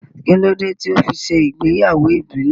Kí ló dé tó fi ṣe ìgbéyàwó ìbílẹ̀